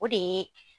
O de ye